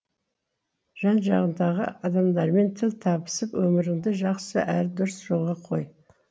жан жағыңдағы адамдармен тіл табысып өміріңді жақсы әрі дұрыс жолға қой